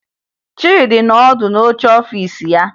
Chịdị nọ ọdụ n'oche ọfiisi ya